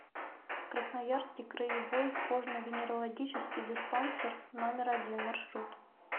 красноярский краевой кожно венерологический диспансер номер один маршрут